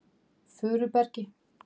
Furubergi